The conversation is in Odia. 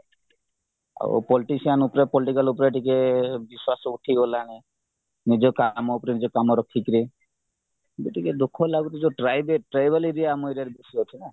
ଆଉ politician ଉପରେ political ଉପରେ ଟିକେ ବିଶ୍ୱାସ ଉଠିଗଲାଣି ନିଜ କାମ ଉପରେ ନିଜ କାମ ରଖିକିରି ଏବେ ଟିକେ ଦୁଃଖ ଲାଗୁଚି tribal area ଆମ area ରେ ବେଶୀ ଅଛିନା